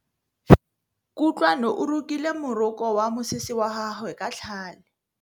Kutlwanô o rokile morokô wa mosese wa gagwe ka tlhale.